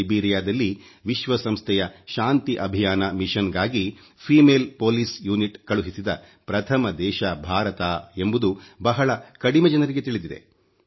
Liberia ವಿಶ್ವಸಂಸ್ಥೆಯ ಶಾಂತಿ ಅಭಿಯಾನ ಮಿಶನ್ ಗಾಗಿ ಮಹಿಳಾ ಪೊಲೀಸ್ ಪಡೆಯನ್ನು ಕಳುಹಿಸಿದ ಪ್ರಥಮ ದೇಶ ಭಾರತ ಎಂಬುದು ಬಹಳ ಕಡಿಮೆ ಜನರಿಗೆ ತಿಳಿಸಿದೆ